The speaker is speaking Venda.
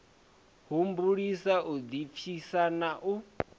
humbulisa u ḓipfisa na u